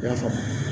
I y'a faamu